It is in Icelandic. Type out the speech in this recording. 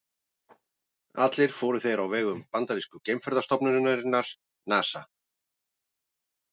Allir fóru þeir á vegum bandarísku geimferðastofnunarinnar NASA.